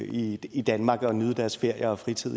i i danmark og nyde deres ferier og fritid